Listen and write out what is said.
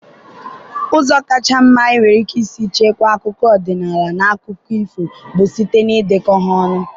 Ụzọ kacha mma enwere ike isi chekwaa akụkọ ọdịnala na akụkọ ifo bụ site na ịdekọ ha.